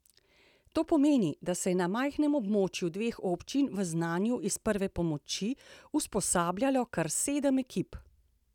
To pomeni, da se je na majhnem območju dveh občin v znanju iz prve pomoči usposabljalo kar sedem ekip.